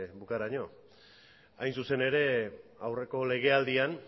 bukaeraraino hain zuzen ere aurreko legealdian